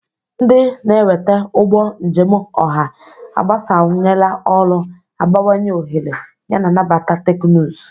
Ndị na-eweta ụgbọ njem ọha agbasawanyela ọrụ, abawanye ohere, yana nabata teknụzụ.